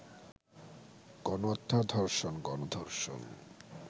গণহত্যা, ধর্ষণ, গণ-ধর্ষণ